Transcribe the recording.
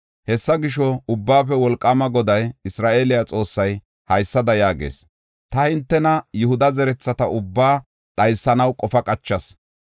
“Hessa gisho, Ubbaafe Wolqaama Goday, Isra7eele Xoossay, haysada yaagees; ta hintena, Yihuda zertheta ubbaa dhaysanaw qofa qachas.